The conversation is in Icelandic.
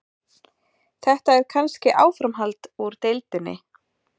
Þetta er kannski áframhald úr deildinni.